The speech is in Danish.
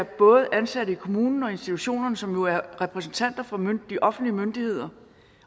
både er ansatte i kommunen og i institutionerne som jo er repræsentanter for de offentlige myndigheder